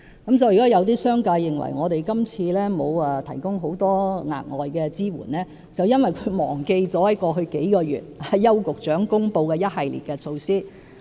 因此，如果有商界人士認為我們今次並無提供很多額外支援，那是因為他們忘了過去數月來邱局長公布的一系列措施。